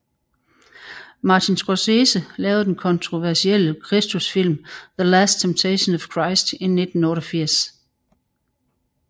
Martin Scorsese lavede den kontroversielle kristusfilm The Last Temptation of Christ i 1988